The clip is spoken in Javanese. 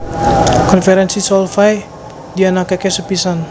Konferènsi Solvay dianakaké sepisan